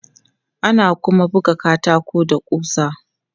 Ana kuma buga katako da ƙusa.